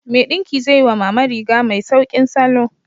Mai ɗinki zai yi wa Mama riga mai sauƙin salo.